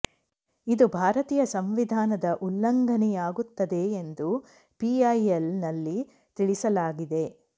ಇದು ಭರತೀಯ ಸಂವಿಧಾನದ ಉಲ್ಲಂಘನೆಯಾಗುತ್ತದೆ ಎಂದು ಪಿಐಎಲ್ ನಲ್ಲಿ ತಿಳಿಸಲಾಗಿದೆ